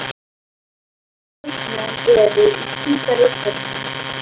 Hvaða leikmenn eru í Hvíta Riddaranum?